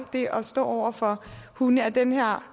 det at stå over for hunde af den her